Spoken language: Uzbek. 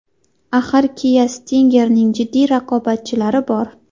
Axir Kia Stinger’ning jiddiy raqobatchilari bor.